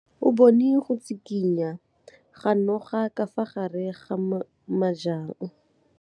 O bone go tshikinya ga noga ka fa gare ga majang.